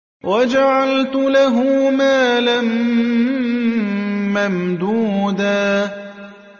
وَجَعَلْتُ لَهُ مَالًا مَّمْدُودًا